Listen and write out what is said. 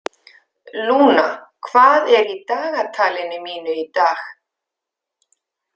Lúna, hvað er í dagatalinu mínu í dag?